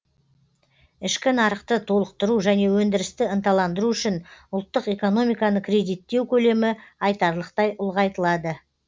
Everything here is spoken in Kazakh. ішкі нарықты толықтыру және өндірісті ынталандыру үшін ұлттық экономиканы кредиттеу көлемі айтарлықтай ұлғайтылады